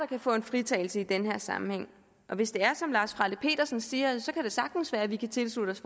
kan få en fritagelse i den her sammenhæng hvis det er som lars frelle petersen siger så kan det sagtens være at vi kan tilslutte os